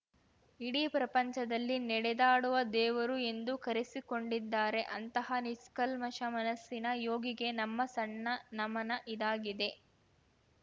ಇಡೀ ಪ್ರಪಂಚದಲ್ಲಿ ನೆಡೆದಾಡುವ ದೇವರು ಎಂದು ಕರೆಸಿಕೊಂಡಿದ್ದಾರೆ ಅಂತಹ ನಿಷ್ಕಲ್ಮಶ ಮನಸ್ಸಿನ ಯೋಗಿಗೆ ನಮ್ಮ ಸಣ್ಮ ನಮನ ಇದಾಗಿದೆ